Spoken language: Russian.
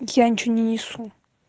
я ничего не несу